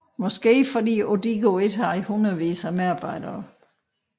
Måske fordi Odigo ikke havde hundredvis af medarbejdere